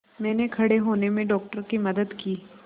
मैंने खड़े होने में डॉक्टर की मदद की